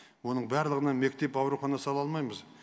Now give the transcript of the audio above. оның барлығына мектеп аурухана сала алмаймыз